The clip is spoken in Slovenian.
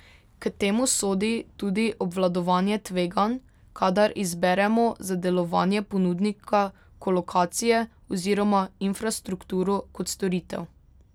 K temu sodi tudi obvladovanje tveganj, kadar izberemo za delovanje ponudnika kolokacije oziroma infrastrukturo kot storitev.